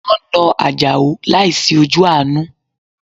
Wọn na ajao láìsí ojú àánú